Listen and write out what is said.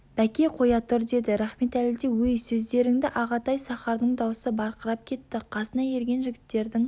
бәке қоя тұр деді рахметәлі де өй сөздеріңді ағатай сахардың даусы барқырап кетті қасына ерген жігіттердің